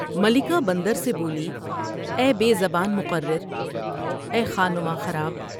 ملکہ بندر سے بولی ۔" اے بے زبان مقرراے خانماں خراب!